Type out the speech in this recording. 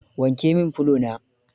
Wanke min fulo na.